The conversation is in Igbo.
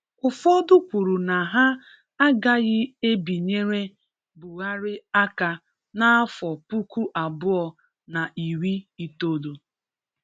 Ụfọdụ kwuru na ha agaghị ebinyere Buhari aka n'afọ puku abụọ na iri itoolu